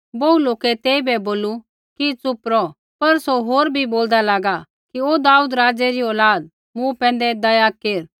बोहू लौके तेइबै बोलू कि च़ुप रौह पर सौ होर भी बोलदा लागा कि ओ दाऊदा राज़ै री औलाद मूँ पैंधै दया केर